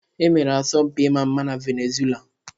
E mere asọmpi ịma mma na Venezuela.